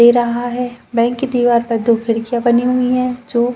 दे रहा है। बैंक के दीवारों पर दो खिड़कियां बनी हुई हैं जो --